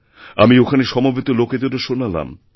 আমি ওখানে সমবেত লোকেদেরও শোনালাম